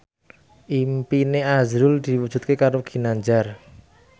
impine azrul diwujudke karo Ginanjar